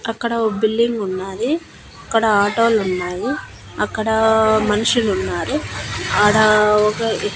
అక్కడ ఒ బిల్లింగ్ ఉన్నాది అక్కడ ఆటోలు ఉన్నాయి అక్కడా మనుషులు ఉన్నారు ఆడా ఒగ--